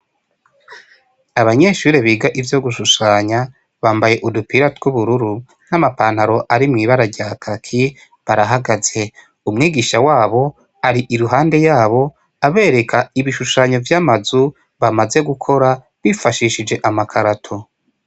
Abanyeshure biga ivyo gushushanya bambaye udupira tw'ubururu nk'amapantaro ari mw'ibara rya kaki barahagaze umwigisha wabo ari i ruhande yabo abereka ibishushanyo vy'amazu bamaze gukora bifashishije amakarato.